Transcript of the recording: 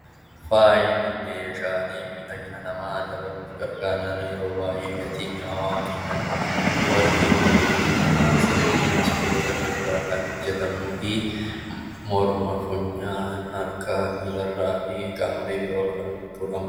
Faayi Meeshaalee miidhagina namaa dabaluu yeroo baayyee naannoo keenyatti argaman warqii, meetii, naasaa fi sibiilota biroo irraa kan hojjetamuu fi morma, funyaan, harkaa fi miila irraa ka'ee qaamolee biroo irra kan jirudha.